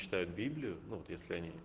читают библию ну вот если они